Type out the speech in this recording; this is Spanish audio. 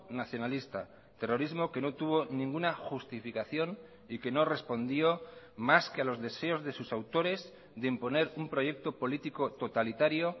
nacionalista terrorismo que no tuvo ninguna justificación y que no respondió más que a los deseos de sus autores de imponer un proyecto político totalitario